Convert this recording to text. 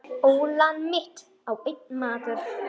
Ólán mitt á einn maður.